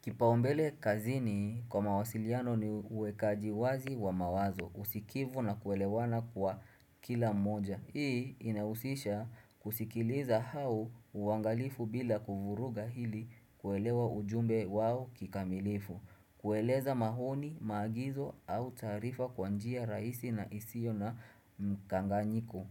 Kipaumbele kazini kwa mawasiliano ni uwekaji wazi wa mawazo, usikivu na kuelewana kwa kila mmoja. Hii inahusisha kusikiliza au uwangalifu bila kuvuruga hili kuelewa ujumbe wao kikamilifu. Kueleza mahoni, maagizo au tarifa kwa njia raisi na isio na mkanganyiku.